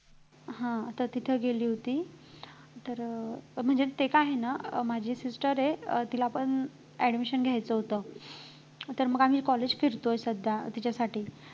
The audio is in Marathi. हां तर तिथं गेली होती तर म्हणजे ते काय आहे ना अं माझी sister आहे अं तिला पण admission घ्यायचं होतं तर मग आम्ही college फिरतोय सध्या तिच्यासाठी